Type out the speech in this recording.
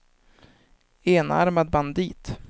enarmad bandit